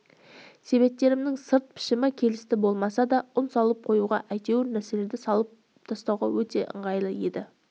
себеттерімнің сыртқы пішімі келісті болмаса да ұн салып қоюға әйтеуір нәрселерді салып тасуға өте қолайлы еді